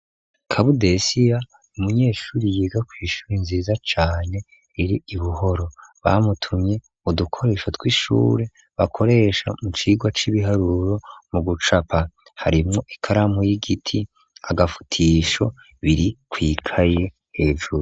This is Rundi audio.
Kabudesiya, ni umunyeshure, yiga kw'ishure nziza cane, iri i Buhoro, bamutumye udukoresho tw'ishure, bakoresha mu cigwa c'ibiharuro, mu gucapa harimwo, ikaramu y'igiti, agafutisho, biri kw'ikaye hejuru.